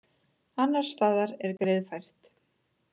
Annars staðar er greiðfært